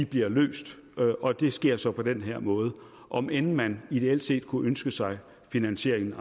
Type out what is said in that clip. bliver løst og det sker så på den her måde om end man ideelt set kunne ønske sig finansieringen